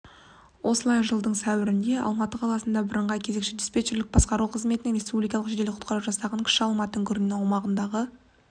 осылай жылдың сәуірінде алматы қаласы біріңғай кезекші-дистепчерлік басқару қызметінен республикалық жедел-құтқару жасағына кіші алматы үңгірінде аумағындағы